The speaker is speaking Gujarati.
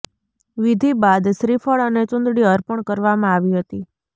વિધિ બાદ શ્રીફ્ળ અને ચુંદડી અર્પણ કરવામાં આવી હતી